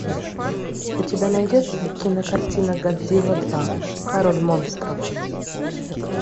у тебя найдется кинокартина годзилла два король монстров